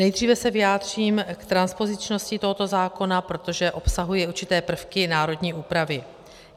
Nejdříve se vyjádřím k transpozičnosti tohoto zákona, protože obsahuje určité prvky národní úpravy.